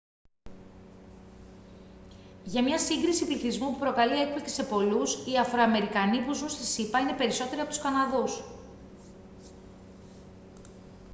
για μια σύγκριση πληθυσμού που προκαλεί έκπληξη σε πολλούς οι αφροαμερικανοί που ζουν στις ηπα είναι περισσότεροι από τους καναδούς